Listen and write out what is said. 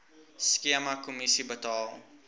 skema kommissie betaal